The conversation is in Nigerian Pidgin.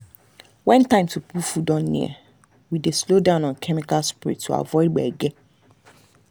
when time to pull food don near we dey slow down on chemical spray to avoid gbege.